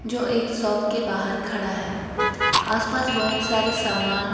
जो एक शॉप के बाहर खड़ा है आस पास बहोत सारे सामान--